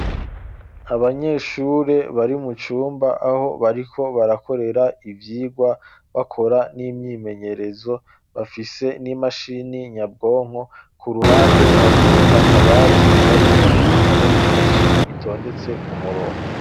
Abanyeshure bari mu cumba aho bariko barakorera ivyigwa bakora n'imyimenyerezo bafise n'imashini nyabwonko ku ruhande hariho akabati karimwo ibitabo vyinshi bitondetse ku murongo.